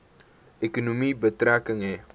ekonomie betrekking hê